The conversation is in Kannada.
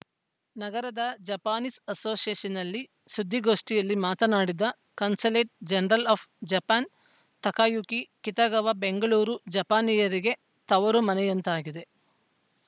ನಗರದ ಜಪಾನೀಸ್‌ ಅಸೋಸಿಯೇಷನ್‌ನಲ್ಲಿ ಸುದ್ದಿಗೋಷ್ಠಿಯಲ್ಲಿ ಮಾತನಾಡಿದ consulate general of Japan Takayuki Kitagawa Bengaluru ಜಪಾನಿಯರಿಗೆ ತವರು ಮನೆಯಂತಾಗಿದೆ